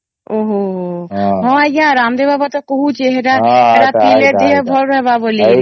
ଓ ହମ୍ମ ହମ୍ମ ହଁ ଆଂଜ୍ଞା ରାମଦେବ ବାବା ତା କହୁଛେ ସେତ ପିଇଲେ ଦେହ ଭଲ ରହିବ ବୋଲି କିନା